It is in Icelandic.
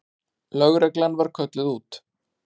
Lögreglan var kölluð út.